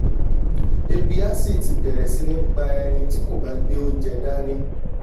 ebi á sì ti bẹ̀ẹ̀rẹ̀ sí ní pá ènìà tí kò bá gbé oúnjẹ dání